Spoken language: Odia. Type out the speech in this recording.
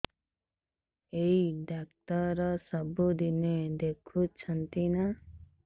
ଏଇ ଡ଼ାକ୍ତର ସବୁଦିନେ ଦେଖୁଛନ୍ତି ନା